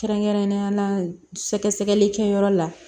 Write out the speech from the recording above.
Kɛrɛnkɛrɛnnenya la sɛgɛsɛgɛli kɛyɔrɔ la